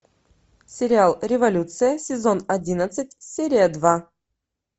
сериал революция сезон одиннадцать серия два